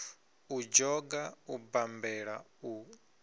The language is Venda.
u dzhoga u bammbela u